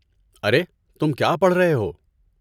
ارے، تم کیا پڑھ رہے ہو؟